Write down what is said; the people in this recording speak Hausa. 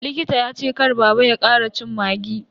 Likita ya ce kar baba ya kara cin maggi.